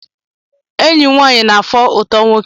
Eyim nwaanyị na afọ ụtọ nwoke.